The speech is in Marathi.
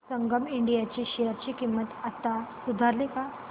संगम इंडिया ची शेअर किंमत आता सुधारली का